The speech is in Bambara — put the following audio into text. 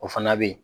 O fana bɛ ye